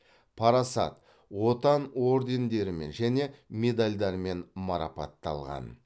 парасат отан ордендерімен және медальдармен марапатталған